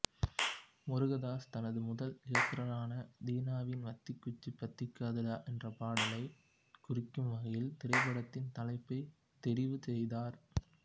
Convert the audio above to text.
முருகதாஸ் தனது முதல் இயக்குனரான தீனாவின் வத்திக்குச்சி பத்திக்காதுடா என்ற பாடலை குறிக்கும் வகையில் திரைப்படத்தின் தலைப்பை தெரிவு செய்தார்